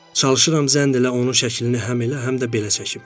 Çalışıram zənn elə onun şəklini həm elə, həm də belə çəkim.